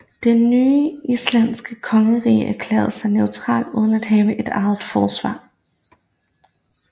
Det nye islandske kongerige erklærede sig neutralt uden at have et eget forsvar